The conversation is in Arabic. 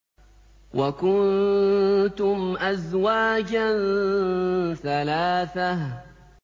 وَكُنتُمْ أَزْوَاجًا ثَلَاثَةً